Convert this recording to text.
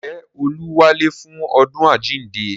Ǹjẹ́ olú wálé fún ọdún àjíǹde